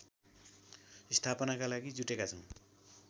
स्थापनाका लागि जुटेका छौँ